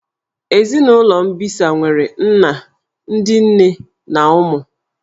Ezinụlọ mbisa nwere nna, ndị nne na ụmụ